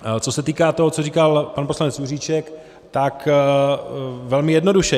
Co se týká toho, co říkal pan poslanec Juříček, tak velmi jednoduše.